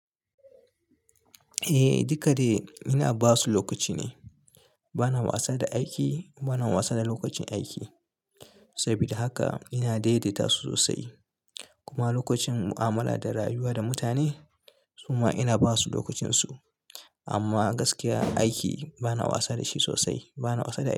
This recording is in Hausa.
Eh, duka dai ina ba su lokaci ne. Bana wasa da aiki, bana wasa da lokacin aiki. Saboda haka ina daidaita su sosai. Kuma lokacin mu'amala da rayuwa da mutane, su ma ina ba su lokacinsu. Amma gaskiya aiki bana wasa da shi sosai, bana wasa da aiki.